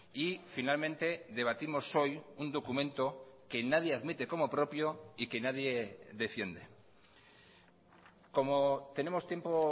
y finalmente debatimos hoy un documento que nadie admite como propio y que nadie defiende como tenemos tiempo